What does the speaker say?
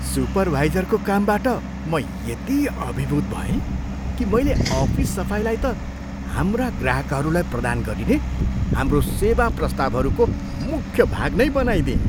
सुपरभाइजरको कामबाट म यति अभिभूत भएँ कि मैले अफिस सफाइलाई त हाम्रा ग्राहकहरूलाई प्रदान गरिने हाम्रो सेवा प्रस्तावहरूको मुख्य भाग नै बनाइदिएँ।